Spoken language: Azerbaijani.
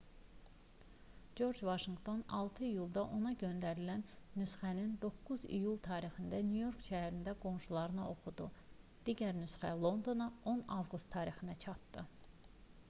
corc vaşinqton 6 iyulda ona göndərilən nüsxəni 9 iyul tarixində nyu-york şəhərində qoşunlarına oxudu digər nüsxə londona 10 avqust tarixində çatdı